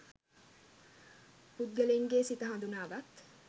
පුද්ගලයින්ගේ සිත හඳුනාගත්